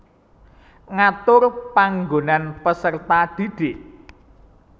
Ngatur panggonan peserta didik